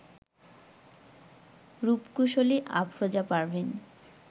রূপকুশলী Afroza Parvin